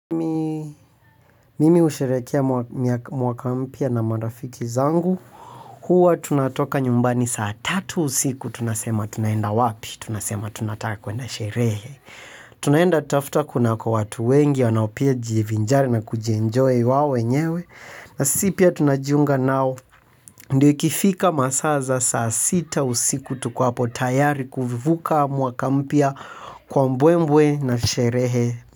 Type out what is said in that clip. Mimi husherehekea mwaka mpya na marafiki zangu. Huwa tunatoka nyumbani saa tatu usiku. Tunasema tunaenda wapi? Tunasema tunataka kuenda sherehe. Tunaenda kutafuta kunako watu wengi, wanaopia jivinjari na kujienjoy wao wenyewe. Na sisi pia tunajiunga nao. Ndiyo ikifika masaa za saa sita usiku tuko hapo tayari kuvuka mwaka mpya kwa mbwembwe na sherehe.